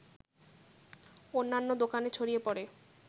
অন্যান্য দোকানে ছড়িয়ে পড়ে